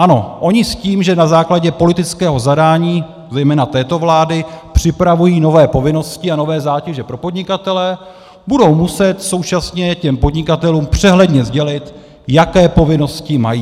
Ano, oni s tím, že na základě politického zadání zejména této vlády připravují nové povinnosti a nové zátěže pro podnikatele, budou muset současně těm podnikatelům přehledně sdělit, jaké povinnosti mají.